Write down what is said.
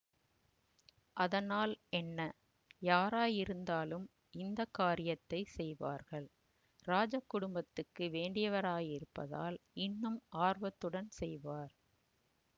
அதனால் என்ன யாராயிருந்தாலும் இந்த காரியத்தை செய்வார்கள் இராஜ குடும்பத்துக்கு வேண்டியவராயிருப்பதால் இன்னும் ஆர்வத்துடன் செய்வார்